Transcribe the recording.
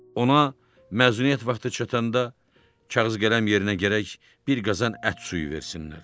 Ona məzuniyyət vaxtı çatanda kağız qələm yerinə gərək bir qazan ət suyu versinlər.